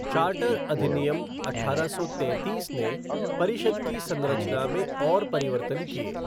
Charter अधिनियम अठारह सौ तैंतीस ने परिषद् की संरचना में और परिवर्तन किए।